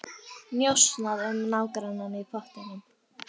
Njósnað um nágrannann í pottinum